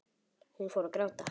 Hún fór að gráta.